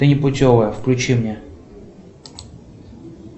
ты непутевая включи мне